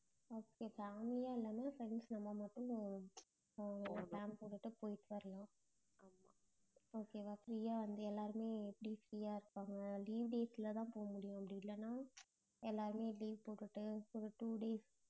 okay family யா இல்லாம friends நம்ம மட்டும் அஹ் plan போட்டுட்டு போயிட்டு வரலாம் okay வா free யா வந்து எல்லாருமே எப்படி free யா இருப்பாங்க leave days ல தான் போகமுடியும் அப்படி இல்லேன்னா எல்லாருமே leave போட்டுட்டு ஒரு two days